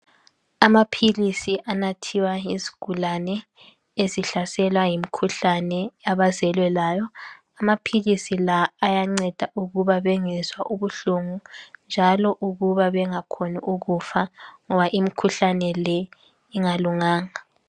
Amaphilisi anathiwa yizigulani ezihlaselwa yomikhuhlane abezelwa layo. Amaphilisi la ayanceda ukuba bengezwa ubuhlungu njalo ukuba bengakhoni ukufa ngoba imikhuhlane le ingalunganga.